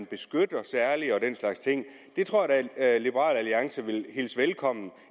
beskytter det tror jeg da at liberal alliance vil hilse velkommen